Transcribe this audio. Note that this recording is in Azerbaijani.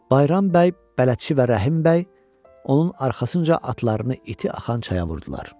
Bayram bəy, bələdçi və Rəhim bəy onun arxasınca atlarını iti axan çaya vurdular.